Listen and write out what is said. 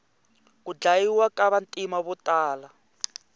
ku dyayiwa ka vantima votala